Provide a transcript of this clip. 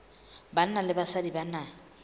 banna le basadi ba na